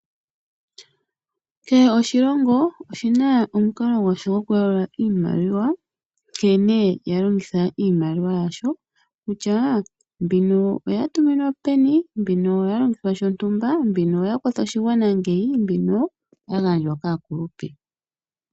Kehe oshilongo oshina omukalo gwasho gokuyalula iimaliwa , nkene yalongitha iimaliwa yasho , kutya mbino oyatuminwa peni , mbino oya longithwa shontumba, mbino oya kwatha oshigwana, mbino oya gandjwa kaakulupe.